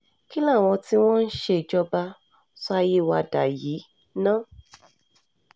kí làwọn tí wọ́n um ń ṣèjọba sọ ayé wa dà yìí ná um